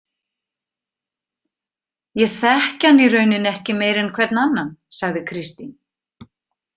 Ég þekki hann í rauninni ekki meir en hvern annan, sagði Kristín.